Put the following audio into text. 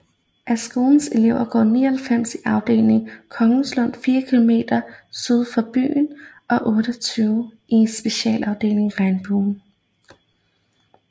Af skolens elever går 99 i afdeling Kongslund 4 km syd for byen og 28 i specialafdelingen Regnbuen